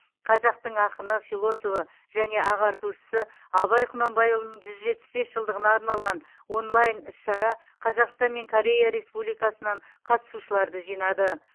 қазақтың ақыны философы және ағартушысы абай құнанбайұлының жүз жетпіс бес жылдығына арналған онлайн іс шара қазақстан мен корея республикасынан қатысушыларды жинады